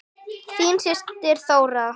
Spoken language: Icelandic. Þín systir Þóra.